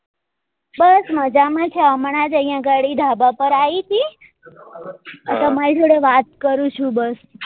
બસ મજામ છે હમણાં જ અહિયાં ઘડી ધાબા પર આવી હતી આ તમારી જોડે વાત કરું છુ બસ